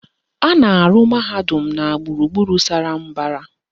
A na-arụ mahadum na gburugburu sara mbara